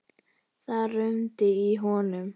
Það rumdi í honum.